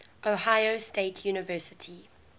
ohio state university